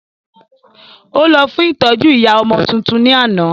Ó lọ fún ìtọ́jú ìyá ọmọ tuntun ní àná